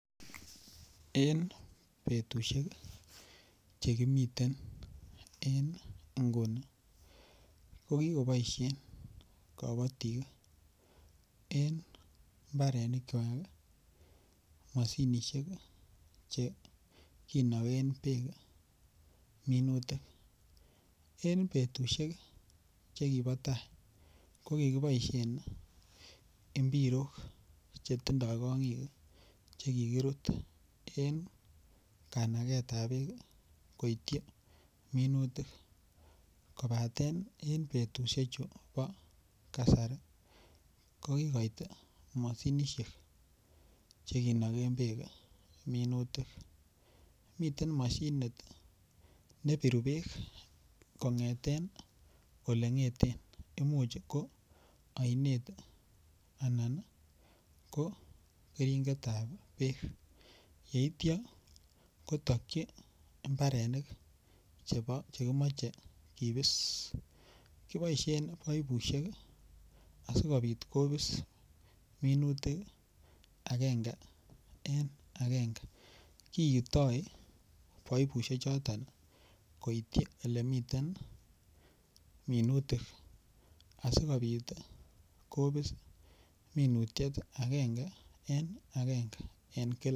En betusiek Che kimiten en nguni ko ki boisien kabatik en mbarenikwak mashinisiek Che kinogen bek minutik en betusiek Che kibo tai ko kiboisien mpirok Che tindoi kongik Che kikirut en kanagetab bek koityi minutik kobaten en betusiechu bo kasari ko kikoit mashinisiek Che kinogen bek minutik miten mashinit ne biru bek kongeten Ole ngeten Imuch ko ainet Anan ko keringet ab bek yeityo kotokyi mbarenik Che kimoche kibis kiboisien paipusiek asikobit kobis minutik agenge en agenge kiitoi paipusiek choton koityi Ole miten minutik asikobit kobis agenge en agenge en kila